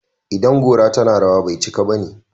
idan gora tana rawa, bai cika bane